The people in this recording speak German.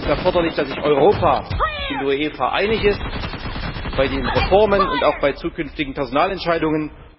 Hierzu ist es erforderlich, dass sich Europa in der UEFA einig ist bei den Reformen und auch bei zukünftigen Personalentscheidungen.